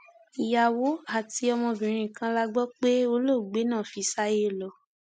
ìyàwó àti ọmọbìnrin kan la gbọ pé olóògbé náà fi sáyé lọ